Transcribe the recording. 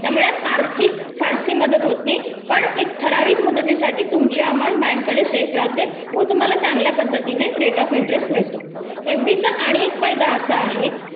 त्यामुळे आर्थिक फारशी मदत होत नाही मोदतीसाठी तुमची अमाउंट बँकेकडे सेफ राहते व तुम्हाला चांगल्या पद्धतीने रेट ऑफ इंटरेस्ट मिळतो एफडी चा आणि एक फायदा असा आहे